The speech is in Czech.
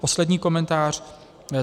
Poslední komentář.